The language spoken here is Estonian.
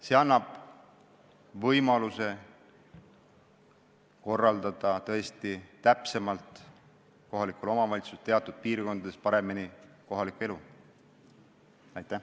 See annab kohalikule omavalitsusele võimaluse teatud piirkondades kohalikku elu paremini korraldada.